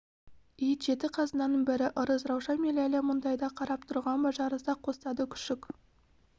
ит жеті қазынаның бірі ырыс раушан мен ләйлә мұндайда қарап тұрған ба жарыса қостады күшік